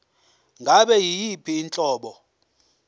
ngabe yiyiphi inhlobo